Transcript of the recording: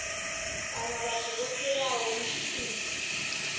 kana vhathu vho fhiraho mpimo